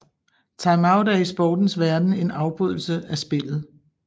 Timeout er i sportens verden en afbrydelse af spillet